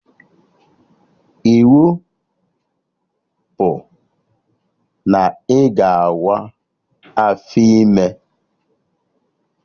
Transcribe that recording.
Iwu bụ na ị ga awa afọ ime!